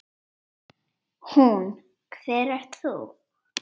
Hún: Hver ert þú?